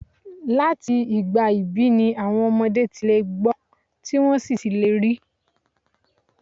Láti ìgbà ìbí ni àwọn ọmọdé ti lè gbọ́ tí wọ́n sì lè rí.